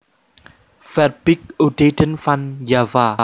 Verbeek Oudheden van Java